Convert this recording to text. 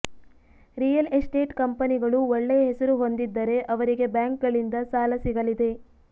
real estate ಕಂಪನಿಗಳು ಒಳ್ಳೆಯ ಹೆಸರು ಹೊಂದಿದ್ದರೆ ಅವರಿಗೆ ಬ್ಯಾಂಕ್ಗಳಿದ ಸಾಲ ಸಿಗಲಿದೆ